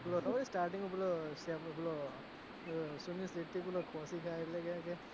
પેલો ખબર છે starting માં પેલો સુનીલ શેટ્ટી પેલો ખોસી એટલે કે છે કે,